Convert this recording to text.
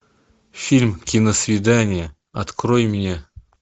фильм киносвидание открой мне